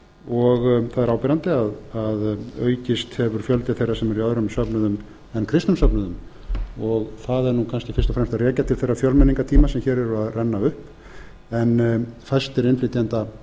og það er áberandi að það aukist fjöldi þeirra sem eru í öðrum söfnuðum en kristnum söfnuðum og það er kannski fyrst og fremst að rekja til þeirra fjölmenningartíma sem hér eru að renna upp en fæstir innflytjenda